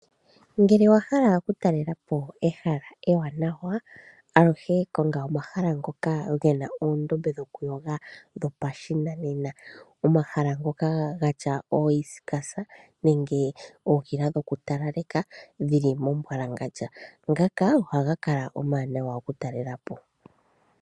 Ngele owahala okutalelapo ehala ewanawa, aluhe konga omahala ngoka ge na oondombe dhokuyoga dhopashinanena, omahala ngoka gatya ooeiskasa nenge ookila dhokutalaleka dhili momumbwalangandja, ngaka ohaga kala omawanawa okutalelapo.